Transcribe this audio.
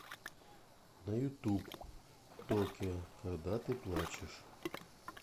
на ютуб токио когда ты плачешь